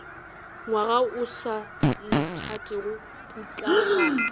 ngwaga o sa nthatego putlaganya